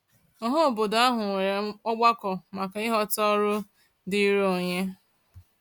Ọhaobodo ahụ nwere ọgbakọ maka ịghọta ọrụ diiri onye.